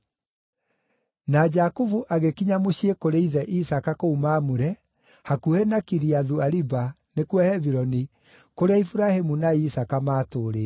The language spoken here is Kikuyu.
Na Jakubu agĩkinya mũciĩ kũrĩ ithe Isaaka kũu Mamure, hakuhĩ na Kiriathu-Ariba (nĩkuo Hebironi), kũrĩa Iburahĩmu na Isaaka maatũũrĩte.